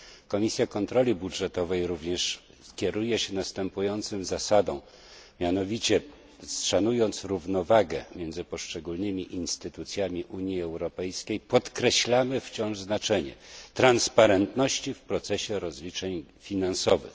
Komisja Kontroli Budżetowej również kieruje się następującą zasadą mianowicie, szanując równowagę między poszczególnymi instytucjami Unii Europejskiej, podkreślamy wciąż znaczenie przejrzystość w procesie rozliczeń finansowych.